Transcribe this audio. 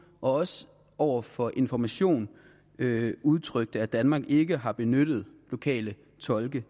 og også over for information udtrykte at danmark ikke har benyttet lokale tolke